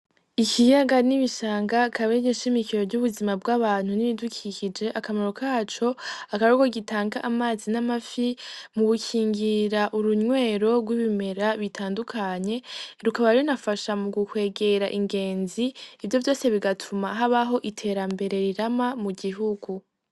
Ikiyaga n'ibishanga akaba ariyo nshimikiro ry'ubuzima bw'abantu n'ibidukikije, akamaro kaco akaba aruko gitanga amazi n'amafi mu gukingira urunywero rw'ibimera bitandukanye, rukaba runafasha mugu kwegera ingenzi ivyo vyose bigatuma habaho iterambere rirama mu gihugu.